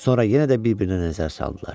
Sonra yenə də bir-birinə nəzər saldılar.